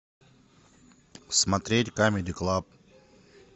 смотреть камеди клаб